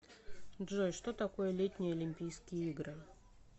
джой что такое летние олимпийские игры